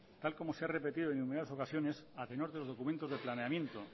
tal y como se ha repetido en numerosas ocasiones a tenor de los documentos de planeamiento